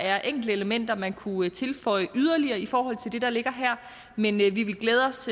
er enkelte elementer man kunne tilføje yderligere i forhold til det der ligger her men vi vil glæde os